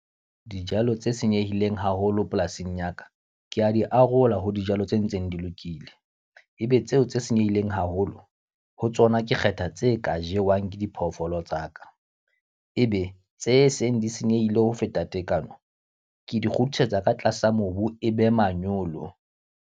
Dijalo tse senyehileng haholo polasing ya ka, ke a di arola ho dijalo tse ntseng di lokile. E be tseo tse senyehileng haholo, ho tsona ke kgetha tse ka jewang ke diphoofolo tsaka. E be tse seng di senyehile ho feta tekano, ke di kgutlisetsa ka tlasa mobu e be manyolo.